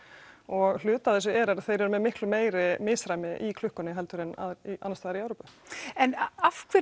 og hluti af þessu er að þeir eru með miklu meira misræmi í klukkunni heldur en aðrir annars staðar í Evrópu en af hverju